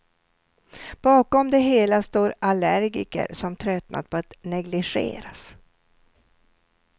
Bakom det hela står allergiker som tröttnat på att negligeras.